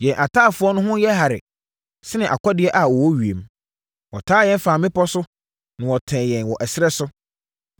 Yɛn ataafoɔ ho yɛ hare sene akɔdeɛ a wɔwɔ ewiem; wɔtaa yɛn faa mmepɔ so na wɔtɛɛ yɛn wɔ ɛserɛ so.